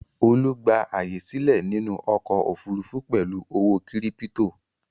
Olú gba àyè sílẹ̀ nínú ọkọ̀-òfurufú pẹ̀lú ọ̀wọ́ kírípító.